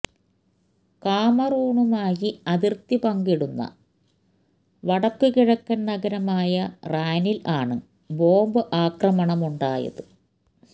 കാമറൂണുമായി അതിര്ത്തി പങ്കിടുന്ന വടക്കു കിഴക്കന് നഗരമായ റാനില് ആണ് ബോംബ് ആക്രമണമുണ്ടായത്